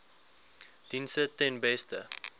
dienste ten beste